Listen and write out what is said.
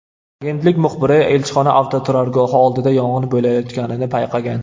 Agentlik muxbiri elchixona avtoturargohi oldida yong‘in bo‘layotganini payqagan.